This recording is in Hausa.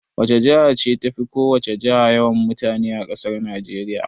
Wace jiha ce tafi ko wace jiha yawan mutane a ƙasar Najeriya?